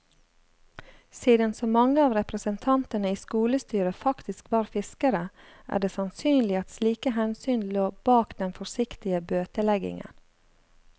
Siden så mange av representantene i skolestyret faktisk var fiskere, er det sannsynlig at slike hensyn lå bak den forsiktige bøteleggingen.